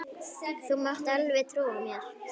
Þú mátt alveg trúa mér!